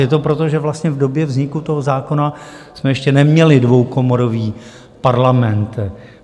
Je to proto, že vlastně v době vzniku toho zákona jsme ještě neměli dvoukomorový parlament.